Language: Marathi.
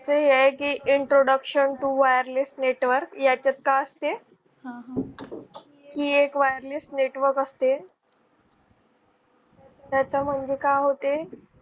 ते आहे की introduction to wireless network याच्यात काय असते? ही एक wireless network असते. त्याचा म्हणजे काय होतें